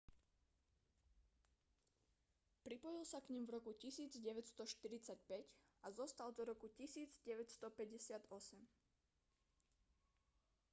pripojil sa k nim v roku 1945 a zostal do roku 1958